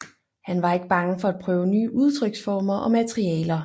Han var ikke bange for at prøve nye udtryksformer og materialer